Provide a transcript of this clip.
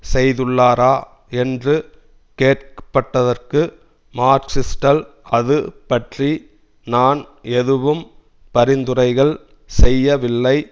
செய்துள்ளாரா என்று கேட்க பட்டதற்கு மக்கிரிஸ்டல் அது பற்றி நான் ஏதும் பரிந்துரைகள் செய்யவில்லை